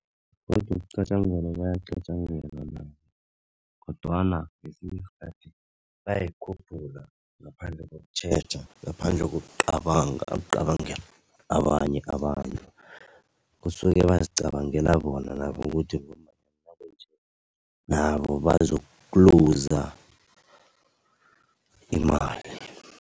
Godu ukuqatjangelwa bayaqatjangelwa nabo, kodwana ngesinye isikhathi bayayikhuphula ngaphandle kokutjheja, ngaphandle kokucabanga ukucabangela abanye abantu kusuke bazicabangela bona nabo ngokuthi nabo bazokuluza imali.